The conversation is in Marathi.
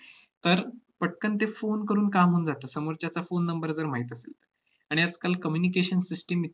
तर पटकन ते phone करून काम होऊन जातं समोरच्याचा phone number जर माहित असेल तर. आणि आजकाल communication system